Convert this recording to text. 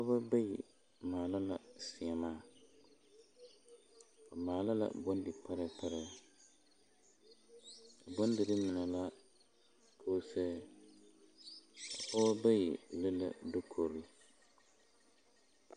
Pɔgeba bayi maala la seemaa ba maala la bondiparɛɛ parɛɛ bondirii mine la koose pɔgeba bayi le dukori.